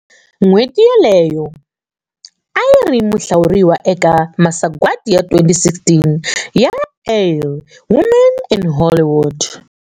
N'hweti yoleyo, a ri muhlawuriwa eka masagwadi ya 2016 ya Elle Women in Hollywood.